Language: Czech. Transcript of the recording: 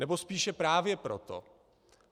Nebo spíše právě proto.